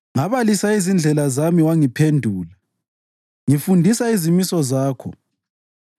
Ngabalisa izindlela zami wangiphendula; ngifundisa izimiso zakho.